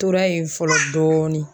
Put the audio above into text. Tora yen fɔlɔ dɔɔni.